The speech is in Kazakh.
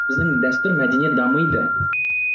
біздің дәстүр мәдениет дамиды